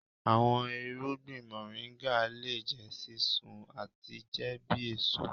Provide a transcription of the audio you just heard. Awọn irugbin Moringa le jẹ sisun ati jẹ bi eso.